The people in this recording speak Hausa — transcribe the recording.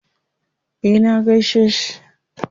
Eh na gaishe shi.